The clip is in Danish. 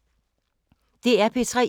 DR P3